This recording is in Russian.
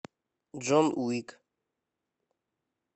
джон уик